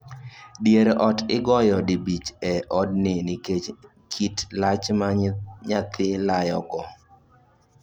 Dier ot igoyo dibich e odni nikech kit lach ma nyathi layo go